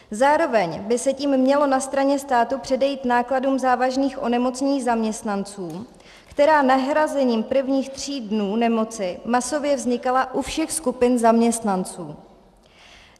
Zároveň by se tím mělo na straně státu předejít nákladům závažných onemocnění zaměstnanců, která nahrazením prvních tří dnů nemoci masově vznikala u všech skupin zaměstnanců.